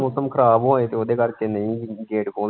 ਮੋਸਮ ਖਰਾਬ ਹੋਏ ਤੇ ਉਹਦੇ ਕਰਕੇ ਨਹੀਂ ਖੋਲਦੇ।